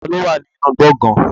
Ta ló wà ní inú gbọ̀gán?